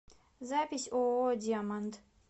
запись ооо диаманд